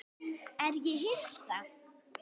Er ég Hissa?